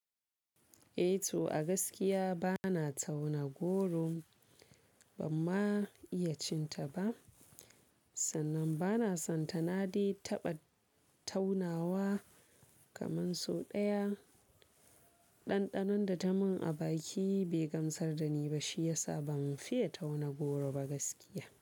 Eh to a gaskiya bana tauna goro ban ma iya cin ta ba sannan bana son ta nade taɓa taunawa kaman so ɗaya. Ɗanɗanon da ta mun a baki bai gamsar da ni ba shi yasa ban fiye tauna goro ba gaskiya.